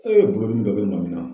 E bolodimi dɔ bi mami na.